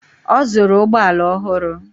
Ọ zụrụ ụgbọala ọhụrụ